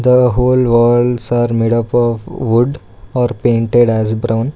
The whole walls are made up of wood or painted as brown.